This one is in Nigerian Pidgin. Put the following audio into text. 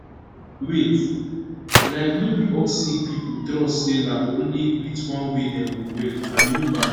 wait like no be all sick pipo trust say na only with one way dem go well and e no bad